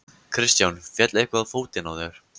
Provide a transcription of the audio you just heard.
Kristján: Féll eitthvað á fótinn á þér?